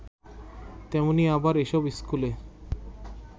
তেমনি আবার এসব স্কুলে